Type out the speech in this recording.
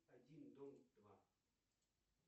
один дома два